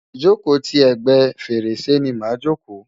ìjòkó ti ègbé fèrèsé ni màa jòkó.